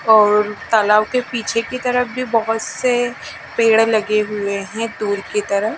और तालाब के पीछे की तरफ भी बहोत से पेड़ लगे हुए हैं दूर की तरह--